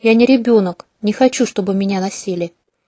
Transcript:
я не ребёнок не хочу чтобы меня носили